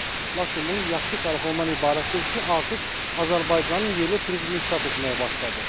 Lakin bunun yaxşı tərəfi ondan ibarətdir ki, artıq Azərbaycanın yerli turizmi inkişaf etməyə başladı.